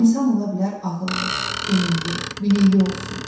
insan ola bilər ağıllı, elmli, bilikli olsun.